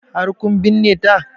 Har kun binne ta?